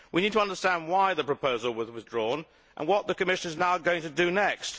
We need to understand why the proposal was withdrawn and what the Commission is going to do next.